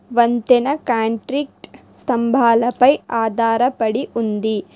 వంతెన కాంట్రిక్ట్ స్తంభాలపై ఆధారపడి ఉంది.